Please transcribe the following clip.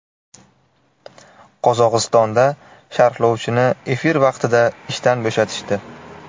Qozog‘istonda sharhlovchini efir vaqtida ishdan bo‘shatishdi.